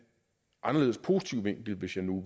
anderledes positiv vinkel hvis nu